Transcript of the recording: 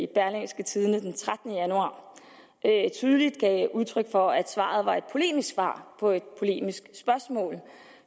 i berlingske tidende den trettende januar tydeligt gav udtryk for at svaret var et polemisk svar på et polemisk spørgsmål